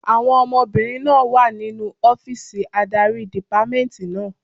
Àwọn ọmọbìnrin náà wà nínu ọ́fìsì adarí dìpámẹ́ẹ̀ntì náà